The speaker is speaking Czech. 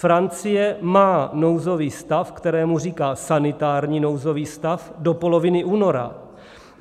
Francie má nouzový stav, kterému říká sanitární nouzový stav, do poloviny února.